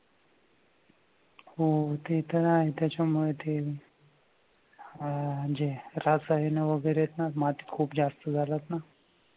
हो ते तर आहे त्याच्यामुळे ते अह जे रसायनं वगैरे हैत ना खूप जास्त झालेत ना.